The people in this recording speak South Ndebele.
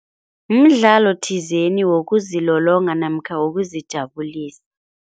Mdlalo thizeni wokuzilolonga namkha wokuzijabulisa.